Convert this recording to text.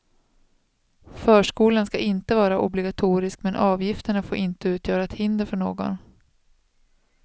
Förskolan ska inte vara obligatorisk, men avgifterna får inte utgöra ett hinder för någon.